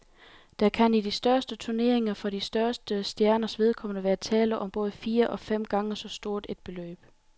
Der kan i de største turneringer for de største stjerners vedkommende være tale om både fire og fem gange så stort et beløb.